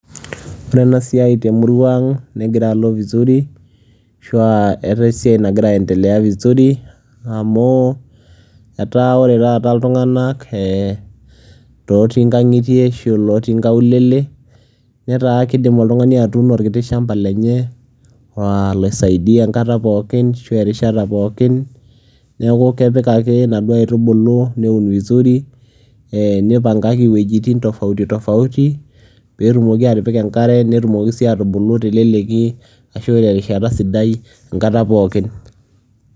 ore ena siai temurua ang negira alo vizuri asu aa eetae esiai nagira aendelea vizuri amu etaa ore taata iltunganak ee otii nkangitie ashu lotii nkaulele netaa kidim oltungani atuuno orkiti shampa lenye oisaida enkata pookin ashu erishata pookin, neku kepik ake inaduoo aitubulu neun vizuri nipangaki iwuejitin tofauti tofauti pee etumoki atipika enkare, netumoki sii aatubulu teleleki enkata pookin.